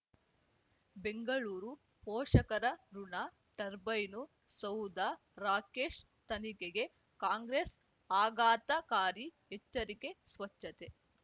ಬೆಂಗಳೂರು ಪೋಷಕರಋಣ ಟರ್ಬೈನು ಸೌಧ ರಾಕೇಶ್ ತನಿಖೆಗೆ ಕಾಂಗ್ರೆಸ್ ಆಘಾತಕಾರಿ ಎಚ್ಚರಿಕೆ ಸ್ವಚ್ಛತೆ